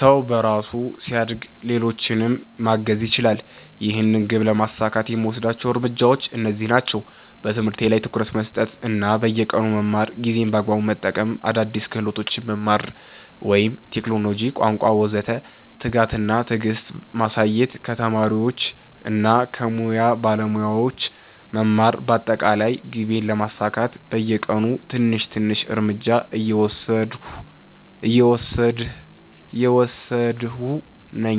ሰው በራሱ ሲያድግ ሌሎችንም ማገዝ ይችላል። ይህን ግብ ለማሳካት የምወስዳቸው እርምጃዎች እነዚህ ናቸው፦ በትምህርት ላይ ትኩረት መስጠት እና በየቀኑ መማር ጊዜን በአግባቡ መጠቀም አዲስ ክህሎቶች መማር (ቴክኖሎጂ፣ ቋንቋ ወዘተ) ትጋት እና ትዕግስት ማሳየት ከተማሪዎች እና ከሙያ ባለሞያዎች መማር በአጠቃላይ ግቤን ለማሳካት በየቀኑ ትንሽ ትንሽ እርምጃ እየወሰድሁ ነኝ።